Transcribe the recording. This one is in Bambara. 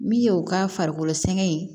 Min ye o ka farikolo sɛgɛn ye